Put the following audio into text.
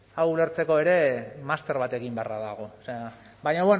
hau ulertzeko ere master bat egin beharra dago baina